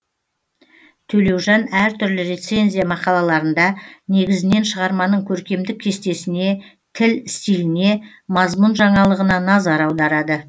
төлеужан әр түрлі рецензия мақалаларында негізінен шығарманың көркемдік кестесіне тіл стиліне мазмұн жаңалығына назар аударады